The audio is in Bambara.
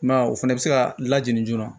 I m'a ye o fɛnɛ bɛ se ka lajigin joona